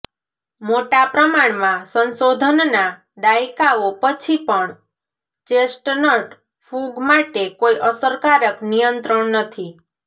મોટા પ્રમાણમાં સંશોધનના દાયકાઓ પછી પણ ચેસ્ટનટ ફૂગ માટે કોઈ અસરકારક નિયંત્રણ નથી